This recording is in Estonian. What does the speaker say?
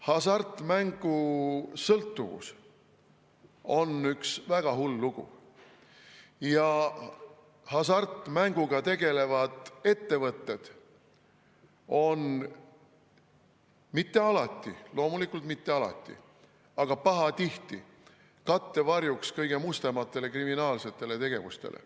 Hasartmängusõltuvus on üks väga hull lugu ja hasartmänguga tegelevad ettevõtted on – mitte alati, loomulikult mitte alati, aga pahatihti – kattevarjuks kõige mustemale kriminaalsele tegevusele.